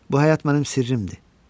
Bu həyat mənim sirrimdir.